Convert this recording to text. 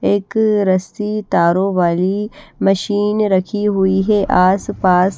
एक रस्सी तारो वाली मशीन रखी हुई है आसपास--